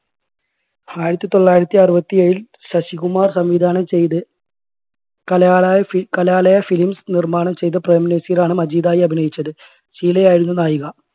ആയിരത്തി തൊള്ളായിരത്തി അറുപത്തി ഏഴിൽ ശശികുമാർ സംവിധാനം ചെയ്ത് കലാലയ ഫി കലാലയ films നിർമ്മാണം ചെയ്ത് പ്രേംനസീറാണ് മജീദായി അഭിനയിച്ചത്. ഷീല ആയിരുന്നു നായിക.